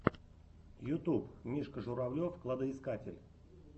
ютуб мишка журавлев кладоискатель